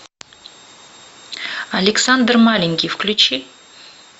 александр маленький включи